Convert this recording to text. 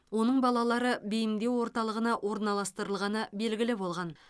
оның балалары бейімдеу орталығына орналастырылғаны белгілі болған